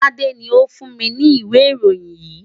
Tade ni ó fún mi ní ìwé ìròyìn yìí.